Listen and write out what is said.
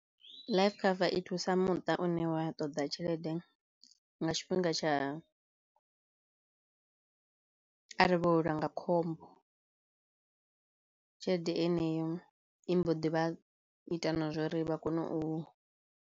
Life cover i thusa muṱa une wa ṱoḓa tshelede nga tshifhinga tsha arali vho welwa nga khombo tshelede heneyo i mbo ḓi vha ita na zwouri vha kone u.